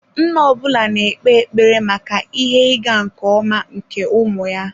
Nna ọ bụla na-ekpe ekpere maka ihe ịga nke ọma nke ụmụ ya.